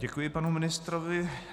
Děkuji panu ministrovi.